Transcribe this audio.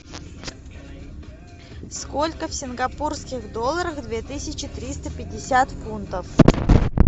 сколько в сингапурских долларах две тысячи триста пятьдесят фунтов